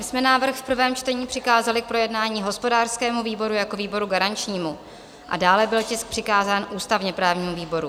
My jsme návrh v prvém čtení přikázali k projednání hospodářskému výboru jako výboru garančnímu a dále byl tisk přikázán ústavně-právnímu výboru.